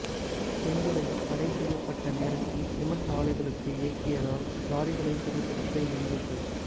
செந்துறையில் தடை செய்யப்பட்ட நேரத்தில் சிமென்ட் ஆலைகளுக்கு இயக்கியதால் லாரிகளை சிறைபிடித்த இளைஞர்கள்